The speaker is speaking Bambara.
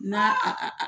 N'a a